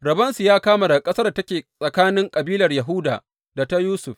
Rabonsu ya kama daga ƙasar da take tsakanin kabilar Yahuda da ta Yusuf.